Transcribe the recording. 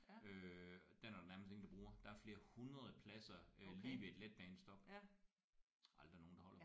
Øh den er der nærmest ingen der bruger. Der er flere 100 pladser øh lige ved et letbanestop. Aldrig nogen der holder på dem